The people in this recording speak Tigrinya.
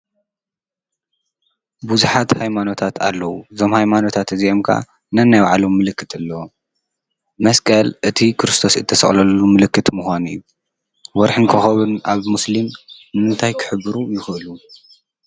ብዙሓት ሃይማኖታት ኣለዉ፡፡ እዞም ሃይማኖታት እዚኦም ከኣ ነናይባዕሎም ምልክታት ኣለዎም፡፡ መስቀል እቲ ክርስቶስ እተሰቐለሉ ምልክት ምዃን እዩ፡፡ ወርሐን ኾኸብን ኣብ ሙስልም እንታይ ክሕብሩ ይኽእሉ?